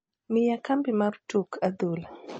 miya kambi mar tuk adhula